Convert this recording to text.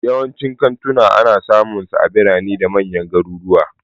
Yawancin kantuna ana samunsu a birane da manyan garuruwa.